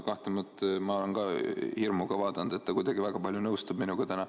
Kahtlemata ma olen ka hirmuga vaadanud, et härra Puustusmaa kuidagi väga palju nõustub minuga täna.